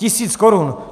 Tisíc korun.